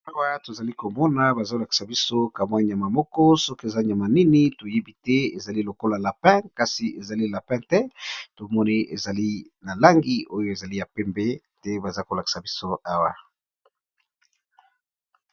Awa tozali komona bazolakisa biso kamwa nyama moko soki eza nyama nini toyebi te ezali lokola lapin kasi ezali lapin te tomoni ezali na langi oyo ezali ya pembe te baza kolakisa biso awa.